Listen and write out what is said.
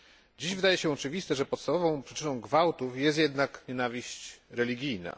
Dziś wydaje się oczywiste, że podstawową przyczyną gwałtów jest jednak nienawiść religijna.